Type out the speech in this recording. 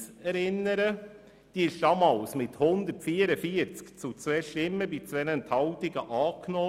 Diese wurde damals mit 144 gegen 2 Stimmen bei 2 Enthaltungen angenommen.